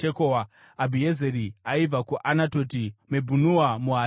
Abhiezeri aibva kuAnatoti, Mebhunai muHushati,